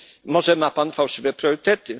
Może ma pan fałszywe priorytety?